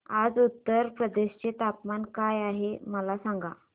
आज उत्तर प्रदेश चे तापमान काय आहे मला सांगा